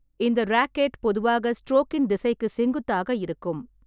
இந்த ரேக்கெட் பொதுவாக ஸ்ட்ரோக்கின் திசைக்கு செங்குத்தாக இருக்கும்.